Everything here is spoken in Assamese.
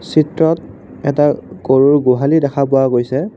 চিত্ৰত এটা গৰুৰ গোহালি দেখা পোৱা গৈছে।